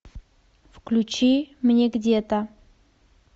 включи мне где то